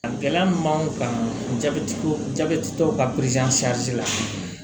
A gɛlɛya min b'an kan jabɛtitɔ ka la